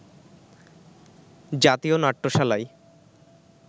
জাতীয় নাট্যশালায়